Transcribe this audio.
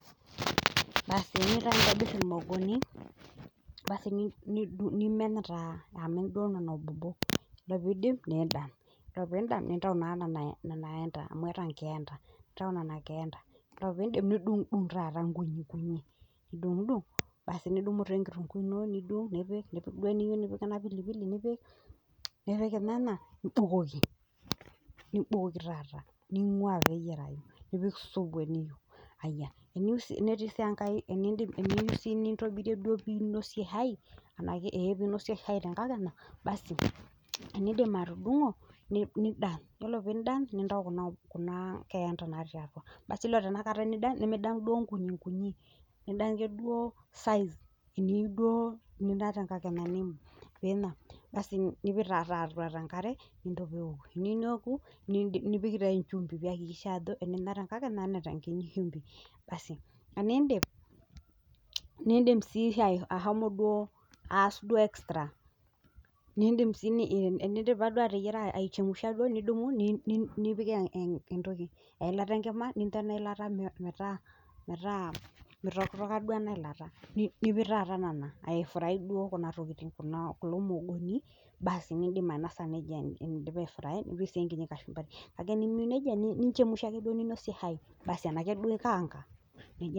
Basi teniyeu taa nintobirr lmuogoni nimen taa amu idee nena bobo, ore piindip niida ore piinda nintau naa nenia keanita amu eeta nkeeenta. Ore piindip nidung'dung' taata nkunii nkunii nidung'dung' basi nidumu taa enkitunguu ino nidung' nipik, nipik duo iniyeu nipik ena pilipili nipik inena nibukoki taata ning'uaa meteyarrai nipik esubu eniyeu, aiya eniyeu sii nintobirie piinosie shai naake piinosie shai te nkakenya basi teniindio atudung'o ,nindany ,ore piindany nintau kuna keenta natii atua basi ore tenakata nidany nimidanya sii duo nkunii nkunii, idanya ake duo size eniyeu duo ninya te nkakenya ino piinapa basi nipik taata atu nkare nintoku, eneoku nipiki nchumbi peakikisha enemeeta nkata neeta nkiti shumpi, basii teniindip, niinsim sii ashomo duo aas duo extra niindim sii enindipa duo ateyara aichemsha duo nidumu nipik elata nkima nintaanyu elata metaa meitokitoka duo ena ilata, nipik taata nena aifuraii kulo muogoni baas niindip ainosa neja indipa aifuraii nipik sii enkiti kashumbari, ake enimiyeu neja niinchemusha ake duo niinosie shai baasi anaake duo inakaanga.